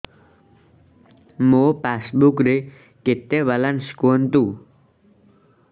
ମୋ ପାସବୁକ୍ ରେ କେତେ ବାଲାନ୍ସ କୁହନ୍ତୁ